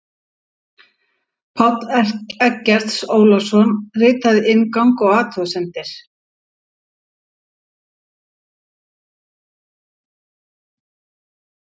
Páll Eggert Ólason ritaði inngang og athugasemdir.